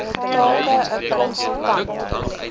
take n konsultant